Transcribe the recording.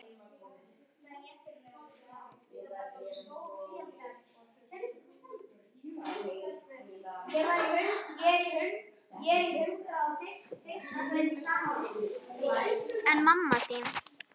En mamma þín?